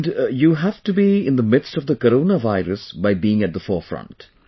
And you have to be in the midst of the corona virus by being at the forefront